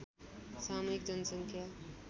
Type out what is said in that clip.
सामूहिक जनसङ्ख्या